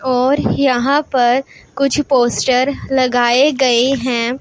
और यहां पर कुछ पोस्टर लगाए गए हैं।